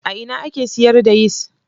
A ina ake siyar da yis?